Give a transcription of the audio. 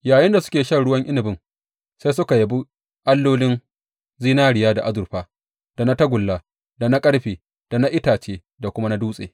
Yayinda suke shan ruwan inabin, sai suka yabi allolin zinariya da azurfa, da na tagulla, da na ƙarfe, da na itace da kuma na dutse.